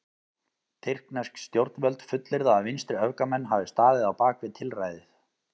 Tyrknesk stjórnvöld fullyrða að vinstriöfgamenn hafi staðið á bak við tilræðið.